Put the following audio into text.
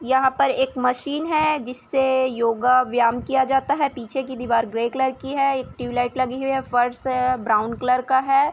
यहाँ पर एक मशीन है जिस से योगा व्यायम किया जाता है पीछे की दीवार ग्रे कलर की है एक ट्यूबलाइट लगी हुई है फर्श ब्राउन कलर का है।